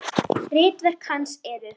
Ritverk hans eru